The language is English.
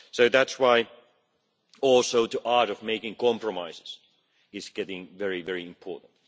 That is also why the art of making compromises is getting very, very important.